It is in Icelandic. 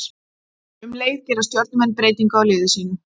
Um leið gera Stjörnumenn breytingu á liði sínu.